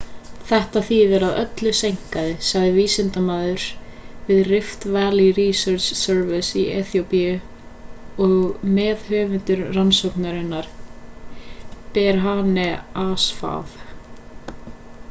þetta þýðir að öllu seinkaði sagði vísindamaður við rift valley research service í eþíópíu og meðhöfundur rannsóknarinnar berhane asfaw